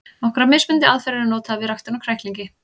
Nokkrar mismunandi aðferðir eru notaðar við ræktun á kræklingi.